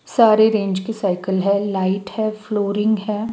सारे रेंज की साइकल हैं लाइट हैं फ्लोरिंग हैं।